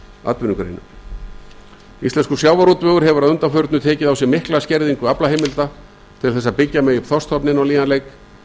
atvinnugreinum íslenskur sjávarútvegur hefur að undanförnu tekið á sig mikla skerðingu aflaheimilda til þess að byggja megi upp þorskstofninn á nýjan leik